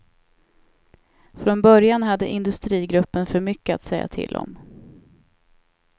Från början hade industrigruppen för mycket att säga till om.